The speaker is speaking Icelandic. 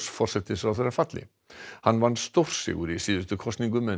forsætisráðherra falli hann vann stórsigur í síðustu kosningum en